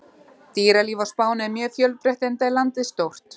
Dýralíf á Spáni er mjög fjölbreytt enda er landið stórt.